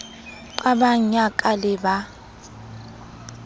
qabang ya ka le ba